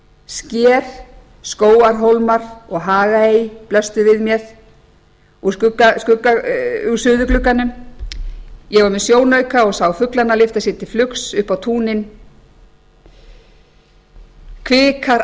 sker skógarhólmar og hagaey blöstu við mér úr suðurglugganum ég var með sjónauka og sá fuglana lyfta sér til flugs upp á túnin kvikar